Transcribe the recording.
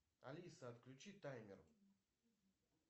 алиса отключи таймер